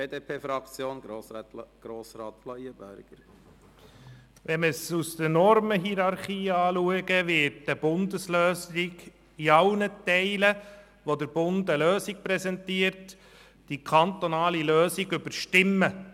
Betrachten wir den Antrag aus Sicht der Normenhierarchie, wird eine Bundeslösung in allen Teilen, in denen der Bund eine Lösung präsentiert, die kantonale Lösung überstimmen.